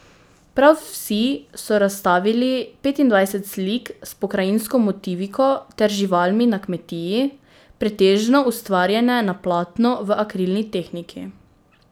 Prav vsi so razstavili petindvajset slik s pokrajinsko motiviko ter živalmi na kmetiji, pretežno ustvarjene na platno v akrilni tehniki.